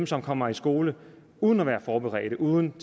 som kommer i skole uden at være forberedte uden